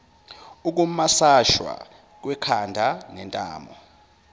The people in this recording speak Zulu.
ukumasashwa kwekhanda nentamo